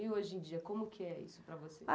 E, hoje em dia, como que é isso para você?